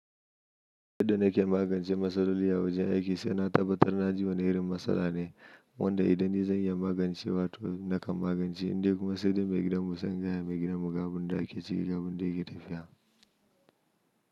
Yadda nake magance matsaloli a wajen aiki, sai na tabbatar na ji wani irin matsala ne, wanda idan nizan iya magance wa to nakan magance, in dai kuma sai dai mai gidan mu sai in gayama mai gidan mu ga abinda ake ciki ga abindayake tafiya.